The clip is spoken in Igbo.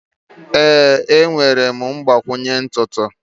Ee, enwere m mgbakwunye ntutu.